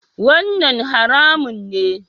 Wannan haramun ne?